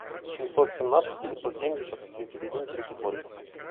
семьсот семнадцать девятьсот семьдесят тридцать один тридцать ноль